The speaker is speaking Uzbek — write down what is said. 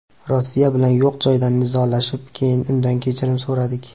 Rossiya bilan yo‘q joydan nizolashib, keyin undan kechirim so‘radik.